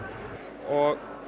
og